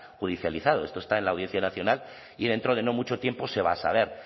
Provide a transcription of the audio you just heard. judicializado esto está en la audiencia nacional y dentro de no mucho tiempo se va a saber